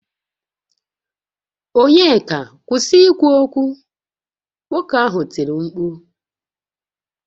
Onyeka kwusi ikwu okwu! Nwoke ahụ tiri mkpu